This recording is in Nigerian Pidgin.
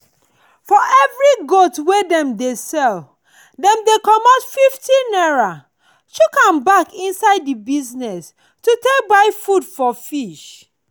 for every goat wey dem sell dem dey comot 50 naira chook am back inside the business to take buy food for fish.